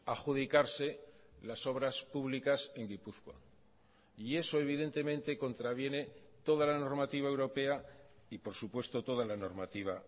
adjudicarse las obras públicas en gipuzkoa y eso evidentemente contraviene toda la normativa europea y por supuesto toda la normativa